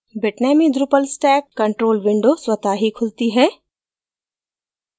bitnami drupal stack control window स्वतः ही खुलती है